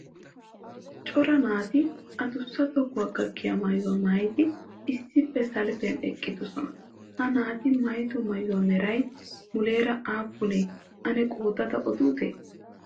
Cora naati addussa tohuwaa gakkiya maayuwa maayidi issippe salppiyan eqqidoosona. Ha naati maayido maayuwa meray muleera aappune ane qoodada odute?